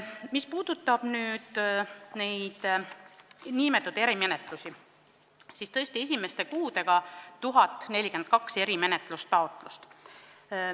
Mis puudutab neid nn erimenetlusi, siis tõesti, esimeste kuudega on esitatud 1042 erimenetluse taotlust.